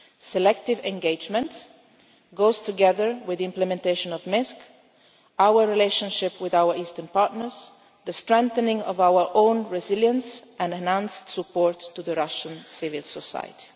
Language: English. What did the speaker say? towards Russia. Selective engagement goes together with the implementation of Minsk, our relationship with our eastern partners, the strengthening of our own resilience and support for Russian